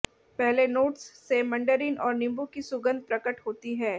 पहले नोट्स से मंडरीन और नींबू की सुगंध प्रकट होती है